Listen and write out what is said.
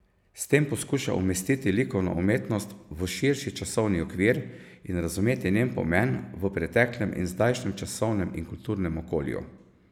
S tem poskuša umestiti likovno umetnost v širši časovni okvir in razumeti njen pomen v preteklem in zdajšnjem časovnem in kulturnem okolju.